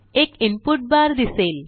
एक इनपुट बार दिसेल